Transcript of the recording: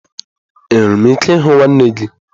Enwere m ike ịhụ nwanne gị?